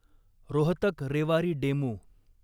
Rohtak Rewari DEMU